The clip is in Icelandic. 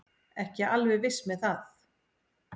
Ekki alveg viss með það.